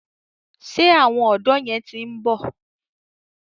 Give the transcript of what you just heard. Ṣé àwọn ọ̀dọ̀ yẹn ti ń bọ̀?